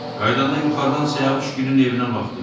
Qayıdanda yuxarıdan Siyavuşgilin evinə baxdım.